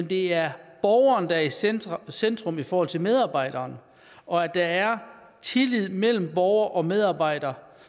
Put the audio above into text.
det er borgeren der er i centrum centrum i forhold til medarbejderen og at der er tillid mellem borger og medarbejder